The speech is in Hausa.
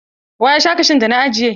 Wa ya sha kashun da na ajiye?